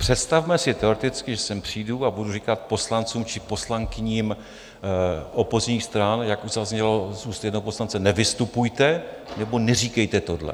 Představme si teoreticky, že sem přijdu a budu říkat poslancům či poslankyním opozičních stran, jak už zaznělo z úst jednoho poslance, nevystupujete nebo neříkejte tohle.